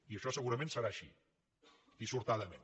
i això segurament serà així dissortadament